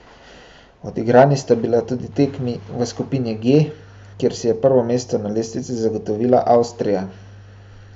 Odigrani sta bili tudi tekmi v skupini G, kjer si je prvo mesto na lestvici zagotovila Avstrija.